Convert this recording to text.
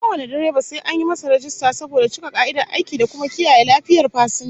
Kowane direba sai an masa rajista saboda cika ka'idar aiki da kuma kiyaye lafiyar fasinja